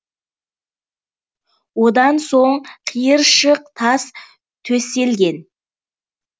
одан соң қиыршық тас төселген